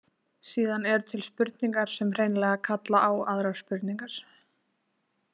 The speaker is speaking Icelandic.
Síðan eru til spurningar sem hreinlega kalla á aðrar spurningar.